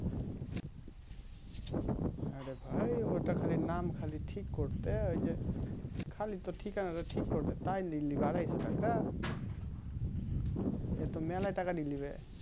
হ্যাঁ রে ভাই ওটা খালি নাম খালি ঠিক করতে ওই যে খালি তো ঠিকানা টা ঠিক করবে তাই নিয়ে লিবে আরাইসো টাকা এতো মালাই টাকা নিয়ে লিবে